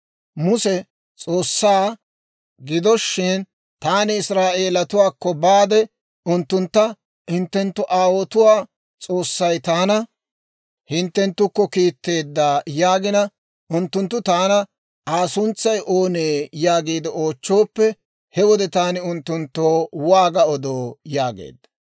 Muse S'oossaa, «Gido shin, taani Israa'eeletuwaakko baade, unttuntta, ‹Hintte aawotuwaa S'oossay taana hinttenttukko kiitteedda› yaagina, unttunttu taana, ‹Aa suntsay oonee?› yaagiide oochchooppe, he wode taani unttunttoo waaga odoo?» yaageedda.